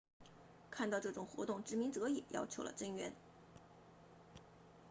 看到这种活动殖民者也要求了增援